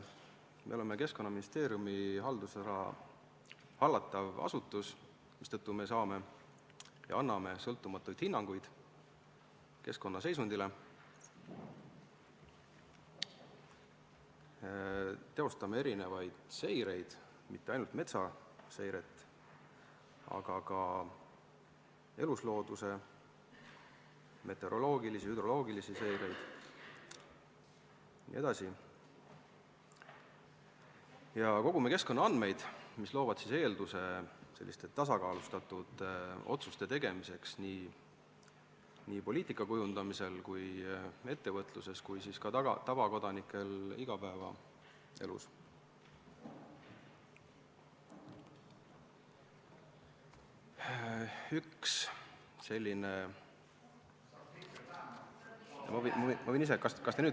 Me oleme Keskkonnaministeeriumi hallatav asutus, mistõttu me saame ja anname sõltumatuid hinnanguid keskkonna seisundile, teostame erinevaid seireid – mitte ainult metsaseiret, vaid ka eluslooduse seiret, meteoroloogilisi ja hüdroloogilisi seireid jne – ning kogume keskkonnaandmed, mis loovad eelduse tasakaalustatud otsuste tegemiseks nii poliitika kujundamisel, ettevõtluses kui ka tavakodanikel igapäevaelus.